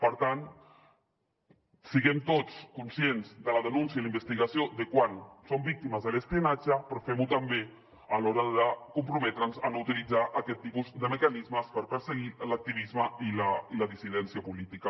per tant siguem tots conscients de la denúncia i la investigació de quan som víctimes de l’espionatge però fem ho també a l’hora de comprometre’ns a no utilitzar aquest tipus de mecanismes per perseguir l’activisme i la dissidència política